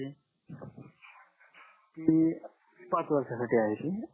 ती पाच वर्षा साठी आहे ती